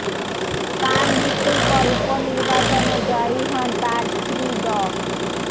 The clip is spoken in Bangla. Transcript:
তার মৃত্যুর পর উপনির্বাচনে জয়ী হন তার স্ত্রী ড